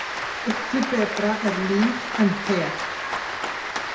Litlu betra er líf en hel.